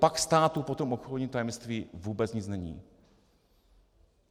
Pak státu po tom obchodním tajemství vůbec nic není.